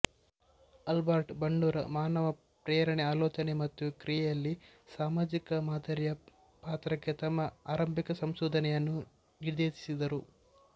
Albert Bandura ಮಾನವ ಪ್ರೇರಣೆ ಆಲೋಚನೆ ಮತ್ತು ಕ್ರಿಯೆಯಲ್ಲಿ ಸಾಮಾಜಿಕ ಮಾದರಿಯ ಪಾತ್ರಕ್ಕೆ ತಮ್ಮ ಆರಂಭಿಕ ಸಂಶೋಧನೆಯನ್ನು ನಿರ್ದೇಶಿಸಿದರು